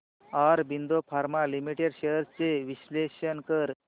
Aurobindo pharma limited shares चे विश्लेषण कर